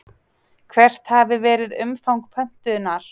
Hvert hafi verið umfang pöntunar?